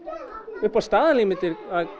upp á staðalímyndir